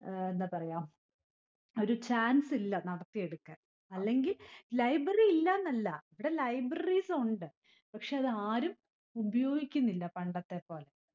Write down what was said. ഏർ എന്താ പറയാ ഒരു chance ഇല്ല നടത്തിയെടുക്കാൻ. അല്ലെങ്കി library ഇല്ലെന്നല്ല. ഇവിടെ libraries ഉണ്ട്. പക്ഷെ അതാരും ഉപയോഗിക്കുന്നില്ല പണ്ടത്തെപ്പോലെ.